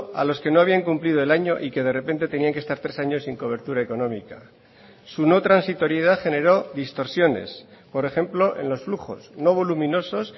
a los que no habían cumplido el año y que de repente tenían que estar tres años sin cobertura económica su no transitoriedad generó distorsiones por ejemplo en los flujos no voluminosos